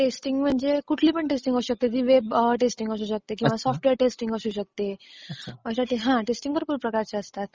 Testing म्हणजे कुठली पण टेस्टिंग असू शकते ती. वेब टेस्टिंग असू शकते किंवा सॉफ्टवेअर टेस्टिंग असू शकते, हां टेस्टिंग भरपूर प्रकारच्या असतात.